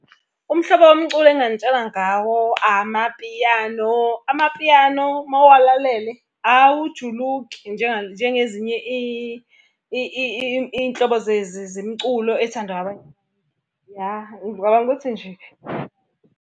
Umhlobo womculo enginganintshela ngawo amapiyano. Amapiyano uma uwalalele awujuluki njengezinye iy'nhlobo zemculo ey'thandwa . Ya ngicabanga ukuthi nje.